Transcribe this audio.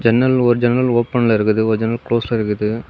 ஜன்னல் ஒரு ஜன்னல் ஒப்பன்ல இருக்குது ஒரு ஜன்னல் குளோஸ்ல இருக்குது.